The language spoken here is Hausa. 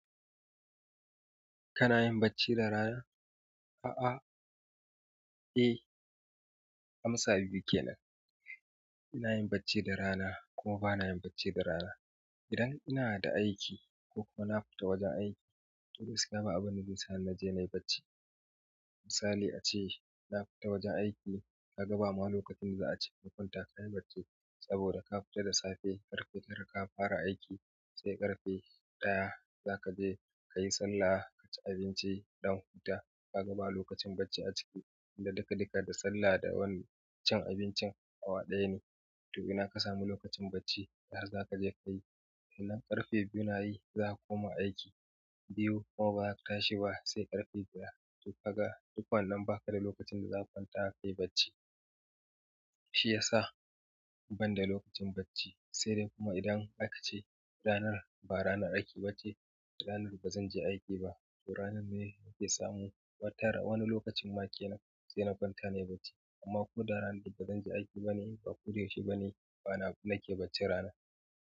Kana yin bacci da rana? A'a. Eh, amsa biyu kenan. Ina yin bacci da rana kuma ba na yin bacci da rana. Idan ina da aiki ko kuma na futa wajen aiki, gaskiya ba abinda zai sani naje nai bacci misali ace, na fita wajen aiki, ka ga bama lokacin da za a ce, ka kwanta ka yi bacci saboda ka fita da safe, ƙarfe tara ka fara aiki, sai ƙarfe ɗaya za ka je ka yi sallah, ka ci abinci, ka ɗan huta. Ka ga ba lokacin bacci a ciki? Tunda dikadika da sallah da wani cin abincin awa ɗaya ne. To ina ka sami lokacin bacci? Dahar za ka je ka yi. Idan ƙarfe biyu na yi, za ka koma aiki. Biyu kuma bazaka tashi ba sai ƙarfe ɗaya. To kaga in ba wannan ba ina lokacin da zaka kwanta kai bacci shi ya sa ban da lokacin bacci. Sai dai kuma idan aka ce ranar ba ranar aiki ba ce, ranar ba zan je aiki ba, to ranar ne nake samu watara ln wani lokacin ma kenan sai na kwanta na yi bacci. Amma ko da ranar da ba zan je aiki ba ne ba ko da yaushe ba ne, bana nake bacci rana.